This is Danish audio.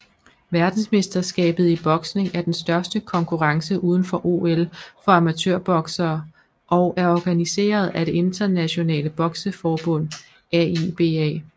Verdensmesterskabet i boksning er den største konkurrence udenfor OL for amatørboksere og er organiseret af det internationale bokseforbund AIBA